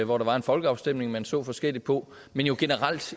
hvor der var en folkeafstemning som man så forskelligt på men jo generelt